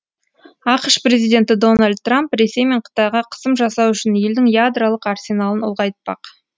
ақш президенті дональд трамп ресей мен қытайға қысым жасау үшін елдің ядролық арсеналын ұлғайтпақ